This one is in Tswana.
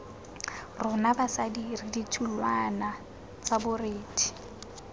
rona basadi re ditholwana borethe